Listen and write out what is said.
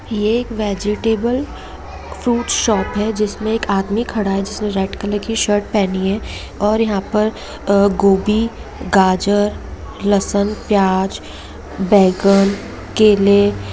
ये एक vegetable food shop हैं इसमें एक आदमी खड़ा है जिसने रेड कलर की शर्ट पहनी है और यहाँ पर गोभी गाजर लहसून प्याज बैंगन केले --